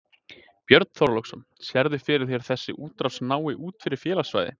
Björn Þorláksson: Sérðu fyrir þér að þessi útrás nái út fyrir félagssvæðið?